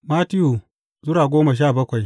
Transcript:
Mattiyu Sura goma sha bakwai